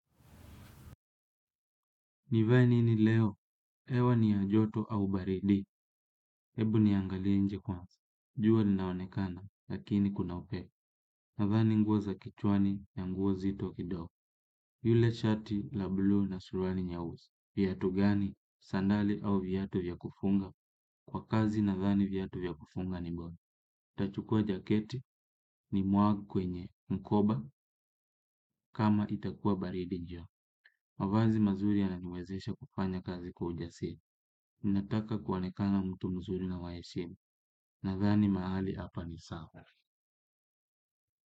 Nivae nini leo? Hewa ni ya joto au baridi. Ebu niangalie nje kwanza. Jua linaonekana, lakini kuna upe. Nadhani nguo za kichwani na nguo zito kido. Yule shati la blue na suruali nyausi. Viatu gani? Sandali au viatu vya kufunga? Kwa kazi nadhani viatu vya kufunga ni bora. Tachukua jaketi ni mwag kwenye mkoba kama itakua baridi njio. Mavazi mazuri yananiwezesha kufanya kazi kwa ujasiri. Ninataka kuonekana mtu mzuri na waheshima. Nadhani mahali hapa ni sawa.